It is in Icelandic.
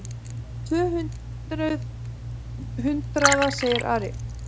Tvö hundruð hundraða, sagði Ari.